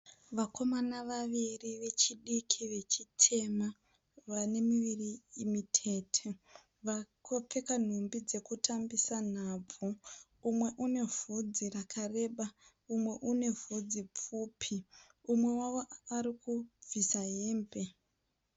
Vakomana vaviri vechidiki vechitema vane miviri mitete. Vakapfeka nhumbi dzekutambisa nhabvu. Umwe une vhudzi rakareba umwe une vhudzi pfupi. Umwe wavo ari kubvisa hembe.